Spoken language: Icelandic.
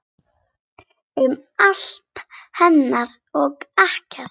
Um allt hennar og ekkert.